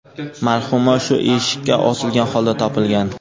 Marhuma shu eshikka osilgan holda topilgan.